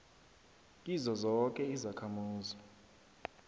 kizo zoke izakhamuzi